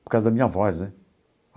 Por causa da minha voz, né?